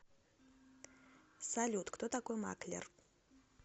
салют кто такой маклер